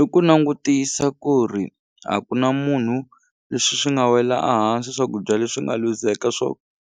I ku langutisa ku ri a ku na munhu leswi swi nga wela a hansi swakudya leswi nga luzeka swo